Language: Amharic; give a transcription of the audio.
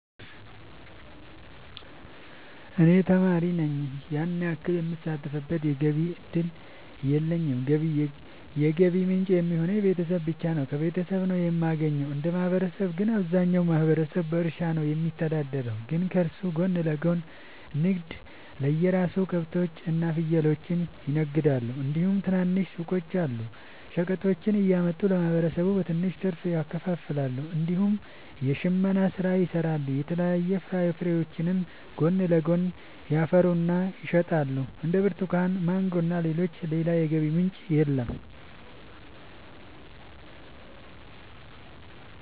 እኔ ተማሪ ነኝ ያን ያክል የምሳተፍበት የገቢ እድል የለኝም የገቢ ምንጭ የሚሆኑኝ ቤተሰብ ብቻ ነው። ከቤተሰብ ነው የማገኘው። እንደ ማህበረሰብ ግን አብዛኛው ማህበረሰብ በእርሻ ነው የሚተዳደር ግን ከሱ ጎን ለጎን ንግድ የሰራሉ ከብቶች እና ፍየሎችን ይነግዳሉ እንዲሁም ትናንሽ ሱቆች አሉ። ሸቀጦችን እያመጡ ለማህበረሰቡ በትንሽ ትርፍ ያከፋፍላሉ። እንዲሁም የሽመና ስራ ይሰራሉ የተለያዩ ፍራፍሬዎችንም ጎን ለጎን ያፈሩና ይሸጣሉ እንደ ብርቱካን ማንጎ እና ሌሎችም። ሌላ የገቢ ምንጭ የለም።